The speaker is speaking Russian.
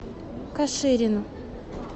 каширину